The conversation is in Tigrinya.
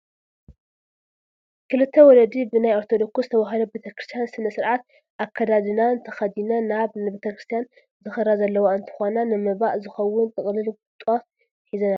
ክልተ ወለዲ ብናይ ኦርቶዶክስ ተዋህዶ ቤተ ክርስትያን ስነ ስርዓት ኣካዳዳድና ተኸዲነን ናብ ቤተ ክርስትያን ዝኸዳ ዘለዋ እንትኾና ንመባእ ዝኸውን ጥቅልል ጧፍ ሒዘን ኣለዋ፡፡